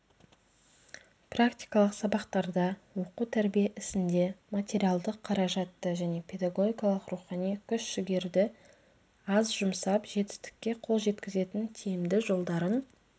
практикалық сабақтарда оқу-тәрбие ісінде материалдық қаражатты және педагогикалық рухани күш-жігерді аз жұмсап жетістікке қол жеткізетін тиімді жолдарын